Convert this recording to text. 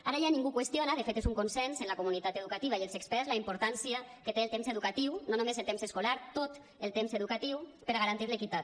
ara ja ningú qüestiona de fet és un consens en la comunitat educativa i els experts la importància que té el temps educatiu no només el temps escolar tot el temps educatiu per a garantir l’equitat